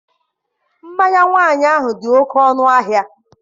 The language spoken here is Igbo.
Mmanya nwaanyị ahụ dị oke ọnụahịa..